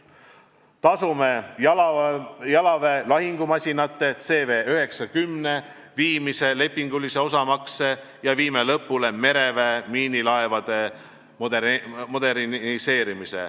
Me tasume jalaväe lahingumasinate CV90 viimase lepingulise osamakse ja viime lõpule mereväe miinilaevade moderniseerimise.